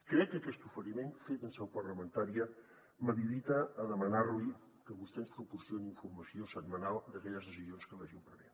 crec que aquest oferiment fet en seu parlamentària m’habilita a demanar li que vostè ens proporcioni informació setmanal d’aquelles decisions que vagin prenent